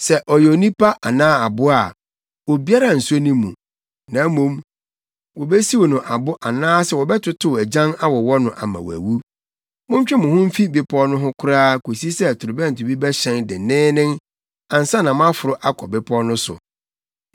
Sɛ ɔyɛ onipa anaa aboa a, obiara nso ne mu. Na mmom, wobesiw no abo anaasɛ wɔbɛtotow agyan awowɔ no ama wawu.’ Montwe mo ho mfi bepɔw no ho koraa kosi sɛ torobɛnto bi bɛhyɛn denneennen ansa na moaforo akɔ bepɔw no so.”